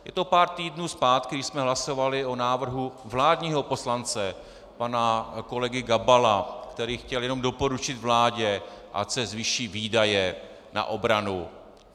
Je to pár týdnů zpátky, kdy jsme hlasovali o návrhu vládního poslance pana kolegy Gabala, který chtěl jenom doporučit vládě, ať se zvýší výdaje na obranu.